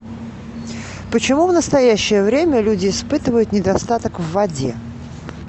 почему в настоящее время люди испытывают недостаток в воде